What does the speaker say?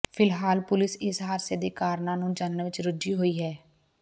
ਫਿਲਹਾਲ ਪੁਲਸ ਇਸ ਹਾਦਸੇ ਦੇ ਕਾਰਨਾਂ ਨੂੰ ਜਾਣਨ ਵਿਚ ਰੁੱਝੀ ਹੋਈ ਹੈ